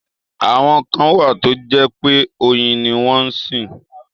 Àwọn kan wà tó jẹ́ pé oyin ni wọ́n sìn.